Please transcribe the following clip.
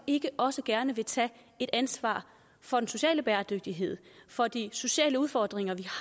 ikke også gerne tage et ansvar for den sociale bæredygtighed for de sociale udfordringer vi